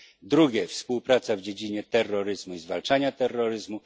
Drugie współpraca w dziedzinie terroryzmu i zwalczania terroryzmu.